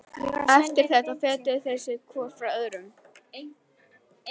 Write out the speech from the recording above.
Eftir þetta fetuðu þeir sig hvor frá öðrum.